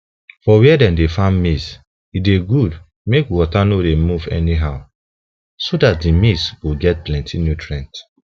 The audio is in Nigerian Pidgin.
for where dem dey farm maize e dey good make water no dey move anyhow so that the maize go get plenty nutrients